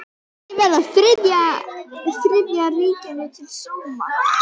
Ekki verið Þriðja ríkinu til sóma.